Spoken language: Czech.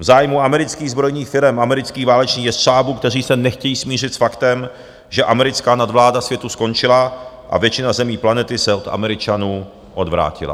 V zájmu amerických zbrojních firem, amerických válečných jestřábů, kteří se nechtějí smířit s faktem, že americká nadvláda světu skončila a většina zemí planety se od Američanů odvrátila.